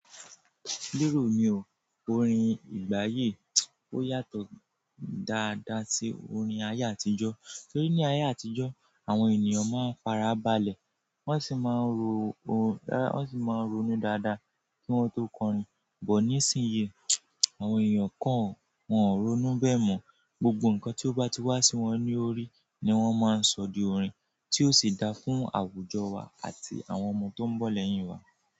Lérò mi o, orin ìgbà yìí o yàtọ̀ dáadáa sí orin ayé àtijọ́. Torí ní ayé àtijọ́, àwọn ènìyàn máa ń fara balẹ̀, wọ́n sì máa ń ronú dáadáa kí wọ́n tó kọrin. But nísìnyí, àwọn ènìyàn kan wọ́n ò ronú bẹ́ẹ̀ mọ́. Gbogbo nǹkan tí ó bá ti wá sí wọn lórí ni wọ́n máa ń sọ di orin, tí ó sì dáa fún àwùjọ wa àti àwọn ọmọ tó ń bọ̀ lẹ́yìn wa.